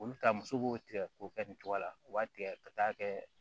Olu ta muso b'o tigɛ k'o kɛ nin cogoya la o b'a tigɛ ka taa kɛ